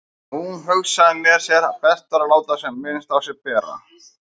Hún hugsaði með sér að best væri að láta sem minnst á sér bera.